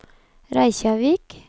Reykjavík